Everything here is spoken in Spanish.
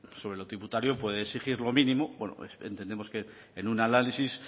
sobre lo tributario puede exigir lo mínimo entendemos que en un análisis